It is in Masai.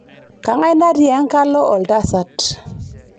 kangae natii ekalo oltasat